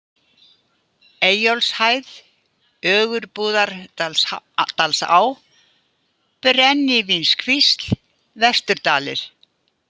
Eyjólfshæð, Ögurbúðardalsá, Brennivínskvísl, Vesturdalir